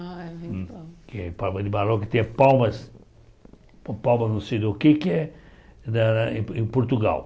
Ah, é. Palma de Mallorca e tem a Palmas... Palma não sei do que que é na em Portugal.